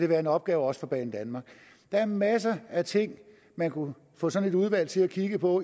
være en opgave for banedanmark der er masser af ting man kunne få sådan et udvalg til at kigge på